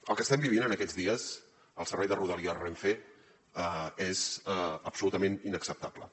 el que estem vivint en aquests dies al servei de rodalies renfe és absolutament inacceptable